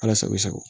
Ala sago i sago